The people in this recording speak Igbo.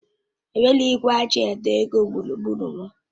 Enweghị igwe eji àdọ́ ego gburugburu m.